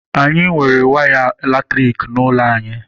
Anyị nwere waya latriki n'ụlọ anyị.